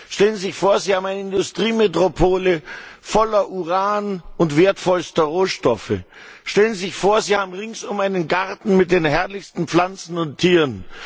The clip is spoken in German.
Stellen Sie sich vor, Sie haben eine Industriemetropole voller Uran und wertvollster Rohstoffe. Stellen Sie sich vor, Sie haben ringsum einen Garten mit den herrlichsten Pflanzen und Tieren.